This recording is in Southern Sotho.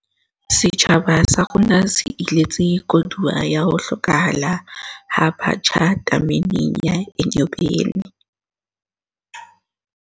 Setjhaba sa rona se iletse koduwa ya ho hlokahala ha batjha tameneng ya Enyobeni